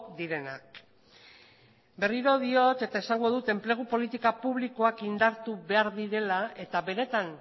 direnak berriro diot eta esango dut enplegu politika publikoak indartu behar direla eta benetan